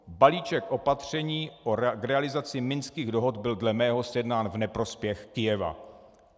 Balíček opatření k realizaci Minských dohod byl dle mého sjednán v neprospěch Kyjeva.